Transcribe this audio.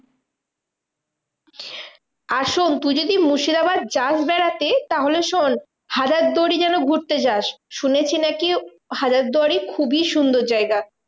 আর শোন্ তুই যদি মুর্শিদাবাদ যাস বেড়াতে? তাহলে শোন্ হাজারদুয়ারি যেন ঘুরতে যাস। শুনেছি নাকি হাজারদুয়ারি খুবই সুন্দর জায়গা।